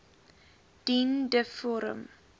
dien de vorm